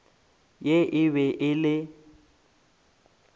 ye e be e le